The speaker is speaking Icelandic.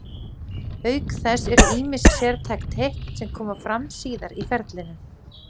Auk þess eru ýmis sértæk teikn sem koma fram síðar í ferlinu.